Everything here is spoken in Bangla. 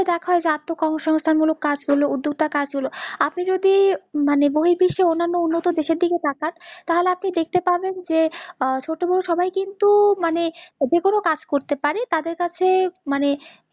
দ্যাখা হই যে কর্ম সংস্থান মুলক কাজ গুলো উদ্যোগতা কাজ গুলো, আপনি যদি মানে বহির বিশ্বে অন্যান্য উন্নত দেশের দিকে তাকান, তাহলে দেখতে পাবেন যে ছোট বড় সবাই কিন্তু মানে যে কোনও কাজ করতে পাড়ে, তাদের কাছে মানে